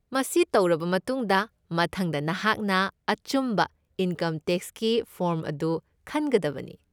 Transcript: ꯃꯁꯤ ꯇꯧꯔꯕ ꯃꯇꯨꯡꯗ, ꯃꯊꯪꯗ ꯅꯍꯥꯛꯅ ꯑꯆꯨꯝꯕ ꯏꯟꯀꯝ ꯇꯦꯛꯁꯀꯤ ꯐꯣꯔꯝ ꯑꯗꯨ ꯈꯟꯒꯗꯕꯅꯤ꯫